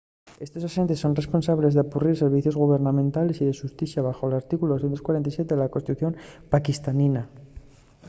estos axentes son responsables d'apurrir servicios gubernamentales y de xusticia baxo l’artículu 247 de la constitución paquistanina